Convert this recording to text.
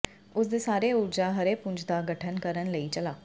ਉਸ ਦੇ ਸਾਰੇ ਊਰਜਾ ਹਰੇ ਪੁੰਜ ਦਾ ਗਠਨ ਕਰਨ ਲਈ ਚਲਾ